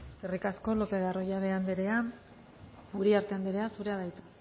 eskerrik asko lopez de arroyabe anderea uriarte anderea zurea da hitza